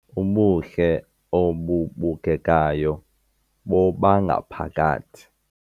Ubuhle obubukekayo bobangaphakathi